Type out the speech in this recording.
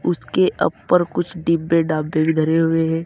उसके अप्पर कुछ डिब्बे डाब्बे भी धरे हुए हैं।